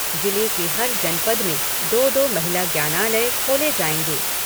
जिले की हर जनपद में दो दो महिला ज्ञानालय खोले जायेंगे।